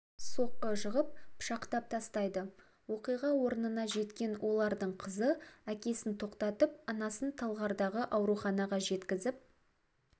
соққы жығып пышақтап тастайды оқиға орнына жеткен олардың қызы әкесін тоқтатып анасын талғардағы ауруханаға жеткізіп